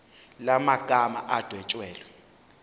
la magama adwetshelwe